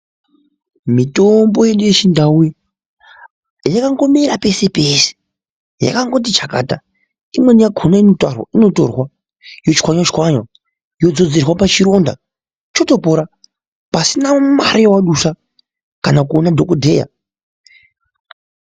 Mitombo yedu yechindauyi yakangomera pese-pese, yakangoti chakata. Imweni yakhona inotarwa inotorwa, yochwanywa-chwanywa yodzodzerwa pachironda chotopora, pasina mare yawadusa kana kuona dhokodheya.